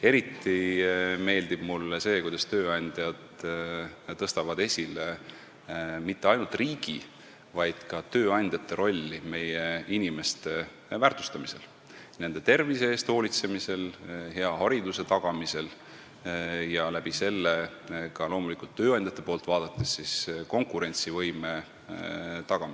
Eriti meeldib mulle see, kuidas tööandjad tõstavad esile mitte ainult riigi, vaid ka tööandjate rolli meie inimeste väärtustamisel, nende tervise eest hoolitsemisel, hea hariduse tagamisel, mis aitab loomulikult tööandjate vaatest konkurentsivõimet tagada.